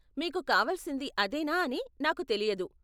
మీకు కావలసింది అదేనా అని నాకు తెలియదు.